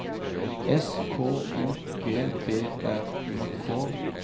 S K O G B R U K